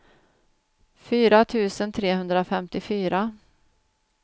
fyra tusen trehundrafemtiofyra